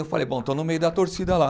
Eu falei, bom, estão no meio da torcida lá.